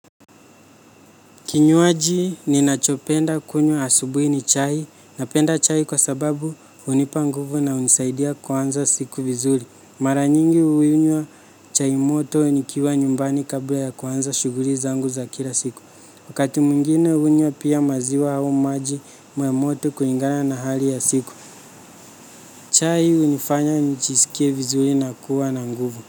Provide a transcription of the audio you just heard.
Kinywaji ninachopenda kunywa asubuhi ni chai. Napenda chai kwa sababu hunipa nguvu na hunisaidia kuanza siku vizuri. Mara nyingi huinywa chai moto nikiwa nyumbani kabla ya kuanza shughuli zangu za kila siku. Wakati mwingine hunywa pia maziwa au maji moto kulingana na hali ya siku. Chai hunifanya nijisikie vizuri na kuwa na nguvu.